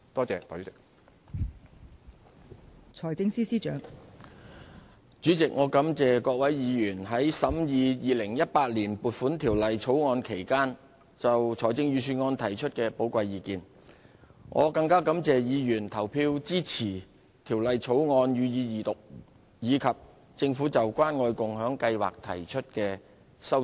代理主席，我感謝各位委員在審議《2018年撥款條例草案》期間就財政預算案提出的寶貴意見，更感謝他們投票支持《條例草案》予以二讀和政府就關愛共享計劃提出的修正案。